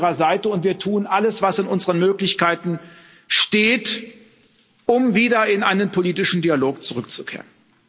Wir stehen an Ihrer Seite, und wir tun alles, was in unseren Möglichkeiten steht, um wieder zu einem politischen Dialog zurückzukehren.